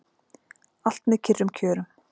Allt með kyrrum kjörum